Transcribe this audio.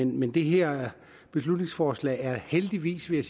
men det her beslutningsforslag er heldigvis vil